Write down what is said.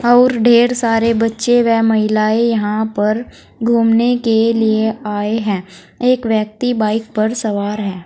और ढेर सारे बच्चे व महिलाएं यहां पर घूमने के लिए आए हैं एक व्यक्ति बाइक पर सवार है।